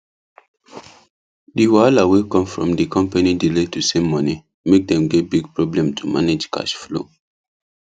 the wahala wey come from the company delay to send money make dem get big problem to manage cash flow